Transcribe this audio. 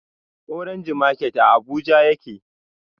Orange market a abuja yake